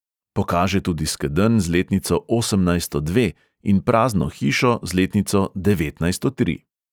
Pokaže tudi skedenj z letnico osemnajststo dve in prazno hišo z letnico devetnajststo tri.